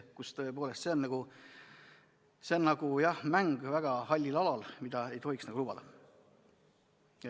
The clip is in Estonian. See on nagu mäng väga hallil alal, mida ei tohiks lubada.